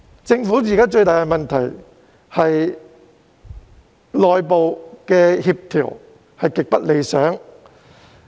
政府現時最大的問題，是內部協調極不理想。